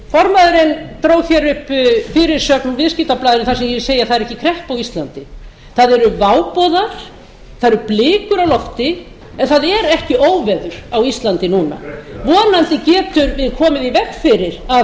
formaðurinn dró hérna upp fyrirsögn úr viðskiptablaðinu þar sem ég segi að það er ekki kreppa á íslandi það eru váboðar það eru blikur á lofti en það er ekki óveður á íslandi núna vonandi getum við komið í veg fyrir að